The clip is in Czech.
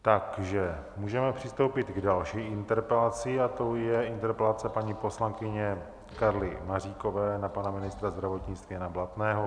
Takže můžeme přistoupit k další interpelaci a tou je interpelace paní poslankyně Karly Maříkové na pana ministra zdravotnictví Jana Blatného.